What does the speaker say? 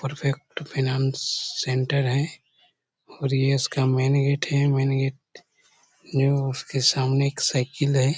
Perfect freelance centre है और यह इसका मेन गेट है मेन गेट जो उसके सामने एक साइकिल है।